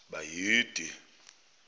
bayede